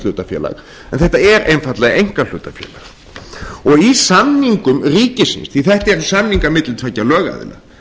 hlutafélag en þetta er einfaldlega einkahlutafélag og í samningum ríkisins því þetta eru samningar milli tveggja lögaðila